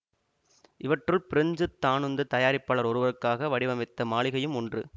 இவற்றுள் பிரெஞ்சு தானுந்துத் தயாரிப்பாளர் ஒருவருக்காக வடிவமைத்த மாளிகையும் ஒன்று